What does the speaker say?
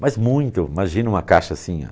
Mas muito, imagina uma caixa assim óh.